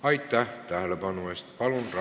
Aitäh tähelepanu eest!